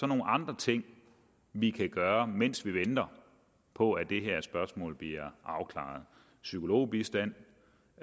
nogle andre ting vi kan gøre mens vi venter på at det her spørgsmål bliver afklaret psykologbistand